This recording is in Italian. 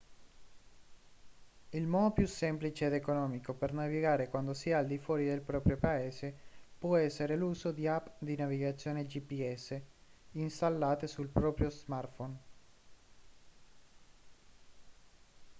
il modo più semplice ed economico per navigare quando si è al di fuori del proprio paese può essere l'uso di app di navigazione gps installate sul proprio smartphone